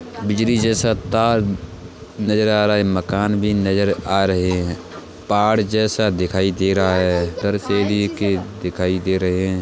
बिजली जैसा तार नजर आ रहा है | मकान भी नजर आ रहे है | पहाड़ जैसा दिखाई दे रहा है | घर दिखाई दे रहे हैं ।